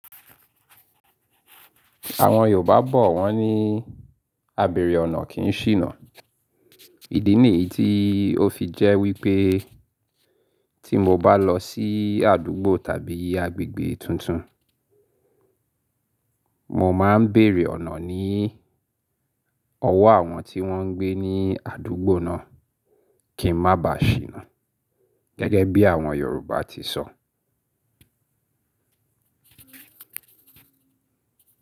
Àwọn Yorùbá bọ̀ wọ́n ní, "Abèrè ọ̀nà kì í ṣìnà." Ìdí nìyí tí ó fi jẹ́ wípé tí mo bá lọ sí àdúgbò tàbí agbègbè tuntun, mo máa ń bèèrè ọ̀nà ní ọwọ́ àwọn tí wón ń gbé ní àdúgbò náà kí ń má ba ṣìnà. Gẹ́gẹ́ bí àwọn Yorùbá ti sọ.